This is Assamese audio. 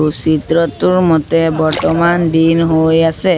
সৌ চিত্ৰটোৰ মতে বৰ্তমান দিন হৈ আছে।